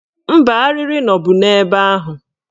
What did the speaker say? Mba, arịrị nọbu ebe ahụ